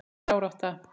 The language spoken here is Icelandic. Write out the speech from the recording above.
Þetta er árátta.